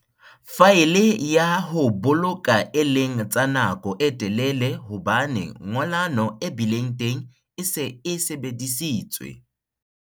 Faele ya ho boloka e leng tsa nako e telele hobane ngollano e bileng teng e se e sebeditswe.